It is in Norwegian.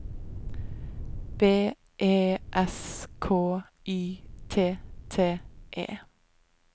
B E S K Y T T E